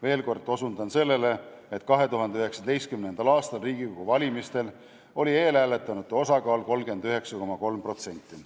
Veel kord osutan sellele, et 2019. aasta Riigikogu valimistel oli eelhääletanute osakaal 39,3%.